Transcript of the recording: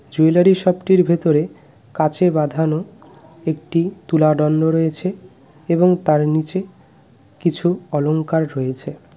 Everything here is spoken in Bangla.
জুয়েলারি শপটির ভেতরে কাঁচে বাঁধানো একটি তুলা দণ্ড রয়েছে এবং তার নীচে কিছু অলংকার রয়েছে .